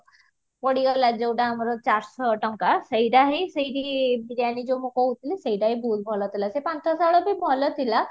ପଡିଗଲା ଯୋଉଟା ଆମର ଚାରିଶହ ଟଙ୍କା ସେଇଟା ହିନ ସେଇଠିକି biriyani ଯୋଉ ମୁଁ କହୁଥଲି ସେଇଟା ହିଁ ବହୁତ ଭଲ ଥିଲା ସେ ପାନ୍ଥଶାଳା ବି ବହ୍ଳା ଥିଲା